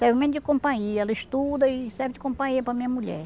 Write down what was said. Serve mesmo de companhia, ela estuda e serve de companhia para minha mulher.